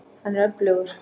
Hann er öflugur.